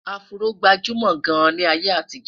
afro gbajumo gaan ní ayé àtijó